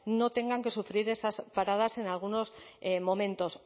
no tengan que sufrir esas paradas en algunos momentos